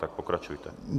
Tak pokračujte.